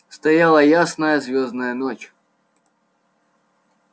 стояла ясная звёздная ночь